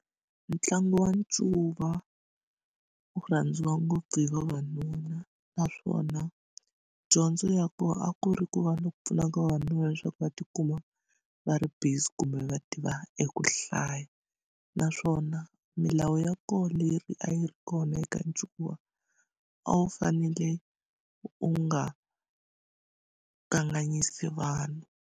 Ntlangu wa ncuva wu rhandziwa ngopfu hi vavanuna naswona dyondzo ya kona a ku ri ku va ni ku pfuna ka vavanuna leswaku va ti kuma va ri busy kumbe va tiva eku hlaya naswona milawu ya koho leri a yi ri kona eka ncuva a wu fanele u nga kanganyisi vanhu.